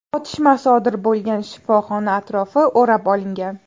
Otishma sodir bo‘lgan shifoxona atrofi o‘rab olingan.